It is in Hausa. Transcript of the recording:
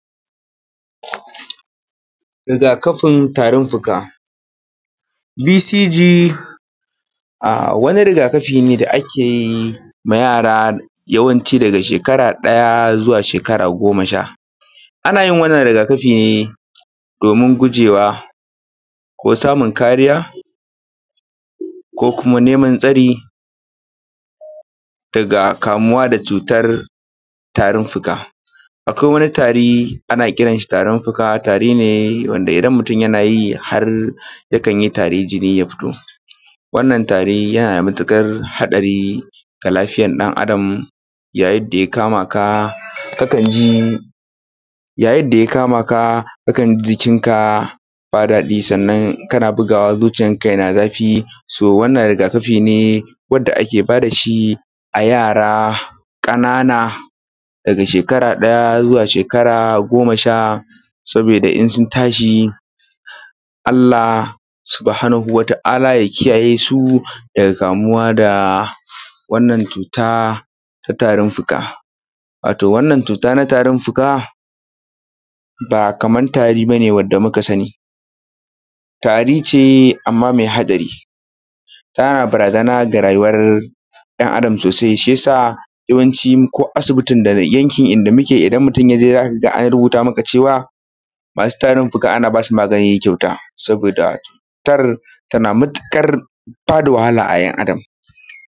Rigakafin tarin-fuka. BCG wani rigakafi ne da ake ma yara yawancin daga shekara ɗaya zuwa shekara goma sha. Ana yi wannan rigakafi ne domin gujewa ko samun kariya ko kuma neman tsari daga kamuwa da cutar tarin-fuka. Akwai wani tari ana kiran shi tarin-fuka, tari ne wanda idan mutum yana yi har yakan yi tari jini ya fito, wannan tari yana da matuƙar haɗari ga lafiyar ɗan-adam, yayin da ya kama ka, kakan ji, yayid da ya kama ka kakan ji jikinka ba daɗi, sannan kana bugawa zuciyarka tana zafi. So wannan rigakafi ne wanda ake ba da shi a yara ƙanana daga shekara ɗaya zuwa shekara goma sha, sabida in sun tashi Allah subuhanahu wata ala ya kiyaye su daga kamuwa da wannan cuta ta tarin-fuka. Wato wannan cuta na tari-fuka ba kamar tari bane wanda muka sani, tari ce amma mai haɗari, tana barazana da rayuwar ɗan-adam sosai, shiyasa yawacin ko asibitin daga yankin inda muke, idan mutum yaje za ka ga an rubuta maka cewa masu tarin-fuka ana ba su magani kyauta, saboda cutar tana matuƙar ba da wahala a ‘yan-adam.